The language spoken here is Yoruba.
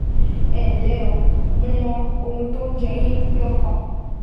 Ẹ ǹlẹ́ o, mo mọ ohun tó ń jẹ yín lọ́kàn